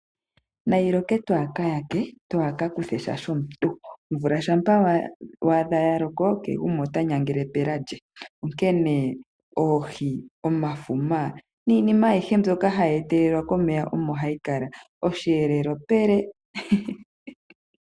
Nayi loke twaa kayake, twa ka kuthe sha shomuntu. Omvula shampa waadha ya loko, kehe gumwe ota nyangele pela lye, onkene oohi, omafuma, niinima ayihe mbyoka ha yi etelelwa komeya omo ha yi kala. Osheelelwa pele.